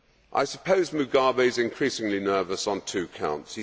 I suppose Mugabe is increasingly nervous on two counts.